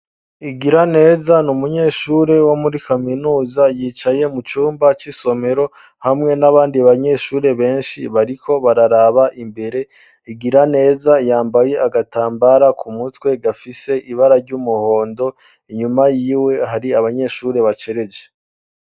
Igiraneza n'umunyeshuri wo muri kaminuza yicaye mu cumba c'isomero hamwe n'abandi banyeshuri beshi bariko bararaba imbere Igiraneza yambaye agatambara ku mutwe gafise ibara ry'umuhondo inyuma yiwe hari abanyeshuri bacereje.